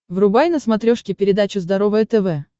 врубай на смотрешке передачу здоровое тв